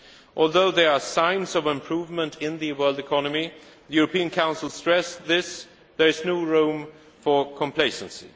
Although there are signs of improvement in the world economy, the European Council stressed that there is no room for complacency.